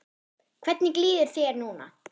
Hvernig líður þér núna?